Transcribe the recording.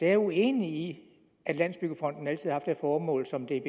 er uenig i at landsbyggefonden altid har det formål som det er